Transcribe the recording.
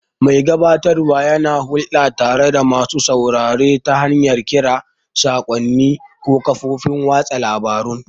Mai gabatarwa yana hulɗa tare da masu sauraro ta hanyar kira, saƙonni, ko kafofin watsa labarun.